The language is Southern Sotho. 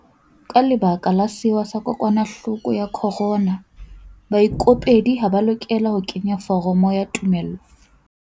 Ka lebaka la sewa sa kokwanahloko ya corona, baikopedi ha ba a lokela ho kenya foromo ya tumello.